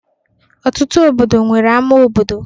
Ọtụtụ obodo nwere ama obodo.